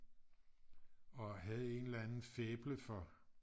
og havde en eller anden faible for